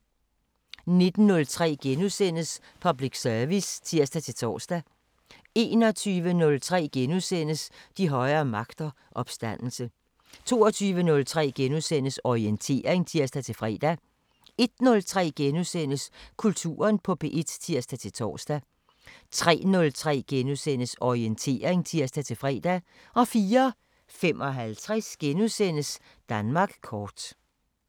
19:03: Public service *(tir-tor) 21:03: De højere magter: Opstandelse * 22:03: Orientering *(tir-fre) 01:03: Kulturen på P1 *(tir-tor) 03:03: Orientering *(tir-fre) 04:55: Danmark kort *